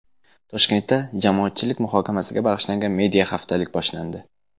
Toshkentda jamoatchilik muhokamasiga bag‘ishlangan media-haftalik boshlandi.